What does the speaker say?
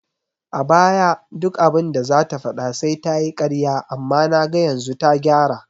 A baya duk abinda zata faɗa sai tayi ƙarya amma naga yanzu ta gyara